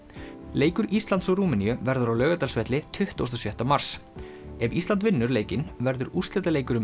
leikur Íslands og Rúmeníu verður á Laugardalsvelli tuttugasta og sjötta mars ef Ísland vinnur leikinn verður úrslitaleikur um